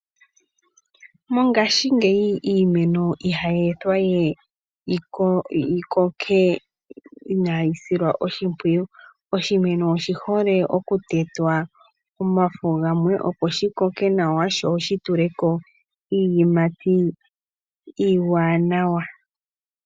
Mongaashingeyi iimeno ihayi ithwa we yikoke inaayi shilwa oshimpwiyu. Oshimeno oshi hole oku tetwa omafo gamwe opo shi koke nawa, sho shituleko iiyimati iiwanawa.